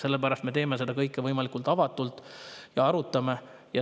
Sellepärast me teeme seda kõike võimalikult avatult ja arutame.